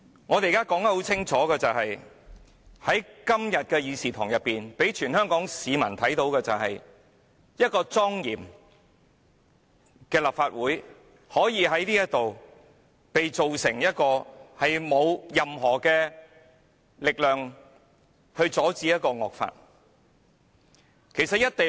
我們現在清楚說出來：在今天的會議廳內，全香港市民看到的是，一個莊嚴的立法會可以被改造成沒有力量阻止惡法的議會。